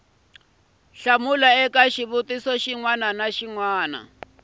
eka xivutiso xin wana ni